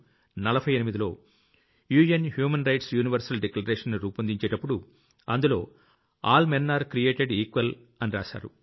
194748లో UN human rights universal Declarationని రూపొందించేటప్పుడు అందులో all men are created equal అని రాశారు